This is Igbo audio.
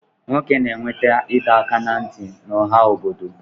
Nwoke na-enweta ịdọaka ná ntị n'ọha obodo